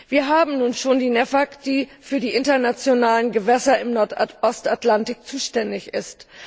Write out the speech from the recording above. Wir haben nun schon die NEAFK, die für die internationalen Gewässer im Nordostatlantik zuständig ist.